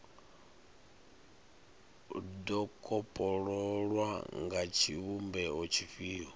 do kopololwa nga tshivhumbeo tshifhio